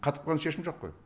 қатып қалған шешім жоқ қой